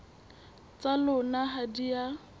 tsa lona ha di a